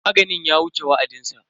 Maganin ya wuce wa'adinsa.